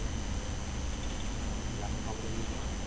laptop computer ଶୁଖିଛୁ କଣ?